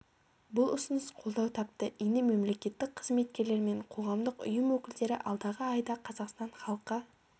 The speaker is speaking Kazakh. бұл ұсыныс қолдау тапты енді мемлекеттік қызметкерлер мен қоғамдық ұйым өкілдері алдағы айда қазақстан халқы